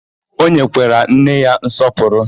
O nyekwara nne ya nsọpụrụ?